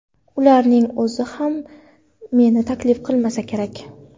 Ularning o‘zi ham meni taklif qilmasa kerak.